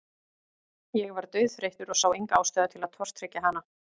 Ég var dauðþreyttur og sá enga ástæðu til að tortryggja hana.